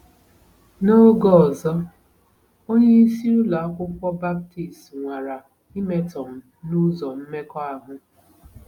N'oge ọzọ, onyeisi ụlọ akwụkwọ Baptist nwara imetọ m n'ụzọ mmekọahụ.